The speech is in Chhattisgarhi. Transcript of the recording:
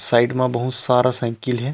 साइड म बहुत सारा साइकिल हे।